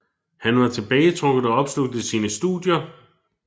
Han var tilbagetrukket og opslugt af sine studier